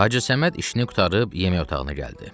Hacı Səməd işini qurtarıb, yemək otağına gəldi.